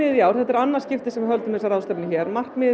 í annað skiptið sem við höldum þessa ráðstefnu hér markmiðið